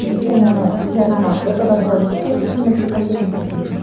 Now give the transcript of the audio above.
өйткені жай ғана ортада бола берсең ешқашан нәтижеге қол жеткізбейсің